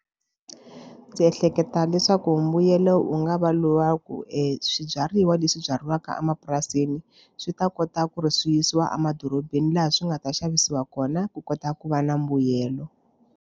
Ndzi ehleketa leswaku mbuyelo wu nga va lowa ku eswibyariwa leswi byariwaka emapurasini swi ta kota ku ri swi yisiwa emadorobeni laha swi nga ta xavisiwa kona ku kota ku va na mbuyelo.